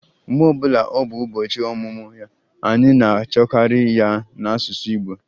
Mgbe ọ bụla ọ bụ ụbọchị ọmụmụ ya, anyị na-achọkarị ya n'asụsụ Igbo